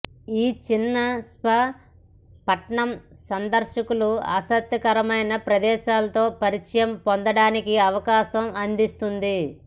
ఈ చిన్న స్పా పట్టణం సందర్శకులు ఆసక్తికరమైన ప్రదేశాలు తో పరిచయం పొందడానికి అవకాశం అందిస్తుంది